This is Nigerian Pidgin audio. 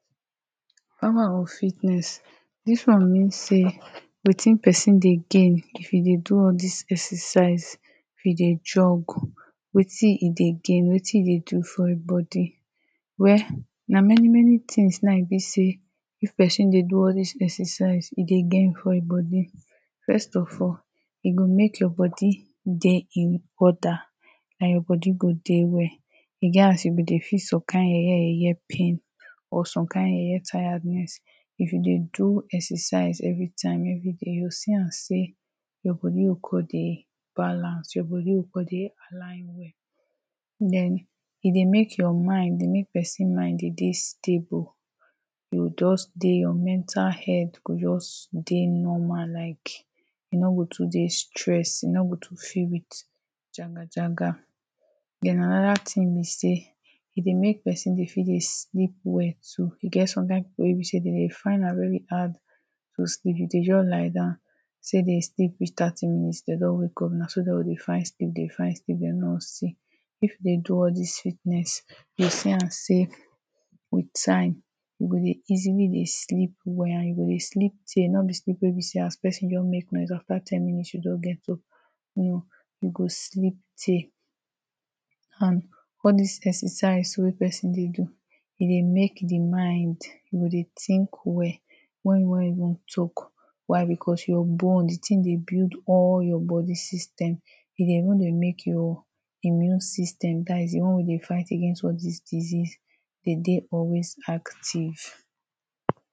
Power of fitness dis one mean sey wetin person dey gain if e dey do all dis exercse if e dey jog wetin e dey gain wetin e dey for im bodi well na many many tings na im e be say if person dey do all these exercise e dey gain for im bodi first of all e go make your bodi dey in order na your bodi go dey well e get as you go dey feel some kine yeye yeye pain or some kine yeye tiredness if you dey do exercise every time every day you go see am sey you body go con dey balance, your body go con dey align den e dey make your mind, e dey make person mind dey stable you go just dey your mental health go just dey normal like e no go too dey stress, e no go too fill with jagajaga and anoda ting be sey, e dey mek person dey sleep well so e get some kine people wey be sey dem dey find very hard to sleep if dey jus lie down dem sleep reach thirty minutes dem don wake up na so dem go dey find sleep dey find sleep dem no go see if dem dey do all these fitness you go see am sey with time e go dey easily dey sleep well and you go sleep tey no be sleep wey sey person go dey make noise afta ten minutes you don wake up no you go sleep tey and all dis exercise wey person dey do e dey mek di mind e go think well wen you wan even wan talk, why bikos your bones di ting dey build all your bodi system e dey even dey make your immune system dat is di one wey dey fight against all dis disease dey dey always active